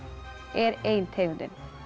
er ein tegundin